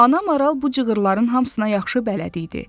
Ana maral bu cığırların hamısına yaxşı bələd idi.